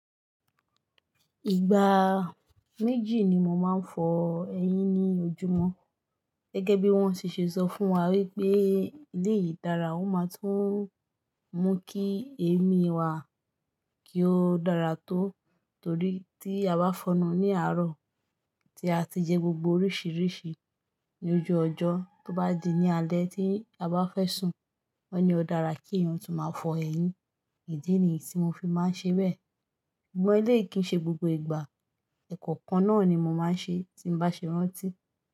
Ìgbà méjì ni mo máa ń fọ eyín ní ojúmọ́. Gẹ́gẹ́ bí wón ti ṣe sọ fún wa wípé eleyìí dára, ó máa tún mú kí èémí wa kí ó dára tó, torí tí a bá fọnu ní àárọ̀ tí a ti jẹ gbogbo oríṣiríṣi ní ojú ọjọ́, tó bá di ní alẹ́ tí a bá fẹ́ sùn, wọ́n ni ó dára kí eeyan tún máa fọ eyín. Ìdí nìyí tí mo fi máa ń ṣe bẹ́ẹ̀. Sùgbón eleii kì í ṣe gbogbo ìgbà. Ẹ̀kọ̀okan náà ni mo máa ń ṣe tí n bá ṣe rántí.